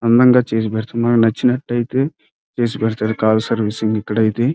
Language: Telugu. అందంగాచేసి పెడతారు నచ్చినట్టయితే ఎసి పెడ్తారు కాల్ సర్వీస్ ఇక్కడైతే --